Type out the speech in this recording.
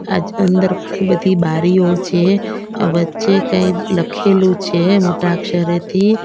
આજ અંદર ઘણી બધી બારીઓ છે વચ્ચે કંઈક લખેલું છે મોટા અક્ષરે થી.